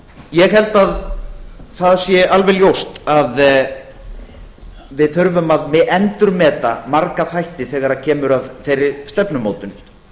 ég held að það sé alveg ljóst að við þurfum að endurmeta marga þætti þegar kemur að þeirri stefnumótun